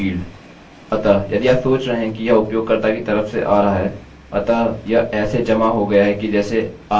अतः यदि आप सोच रहे हैं कि यह उपयोगकर्ता की तरफ से आ रहा है अतः यह ऐसे जमा हो गया कि जैसे आपने अपना यूजरनेम और पासवर्ड टाइप किया